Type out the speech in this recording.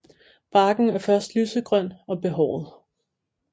Barken er først lysegrøn og behåret